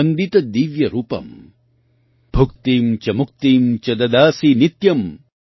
भुक्तिम् च मुक्तिम् च ददासि नित्यम्